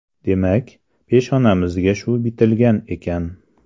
Demak, peshonamizga shu bitilgan ekan.